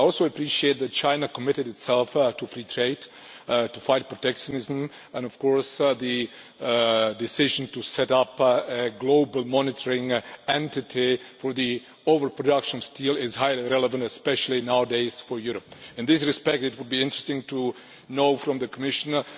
I also appreciate that China committed itself to free trade and to fight protectionism, and of course the decision to set up a global monitoring entity for the over production of steel is highly relevant, especially nowadays for Europe. In this respect it would be interesting to know from the Commissioner